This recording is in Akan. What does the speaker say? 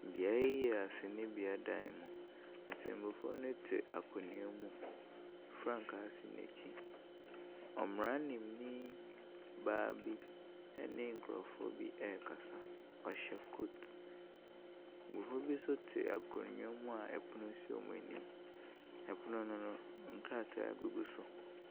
Beaeɛ yi yɛ asɛnnibea dan mu. Ɔtɛmmuafoɔ no te akonnwa mu. Frankaa si n'akyi. Mmaranimni baa bi ne nkurɔfoɔ bi rekasa. Ɔhyɛ coat. Mmɔfra bi nso te akonnwa mu a ɔpono si wɔ anim. Ɔpono no no, nkrataa gugu so.